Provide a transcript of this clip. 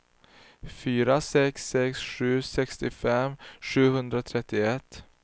fyra sex sex sju sextiofem sjuhundratrettioett